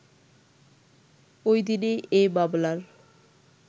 ওইদিনই এ মামলার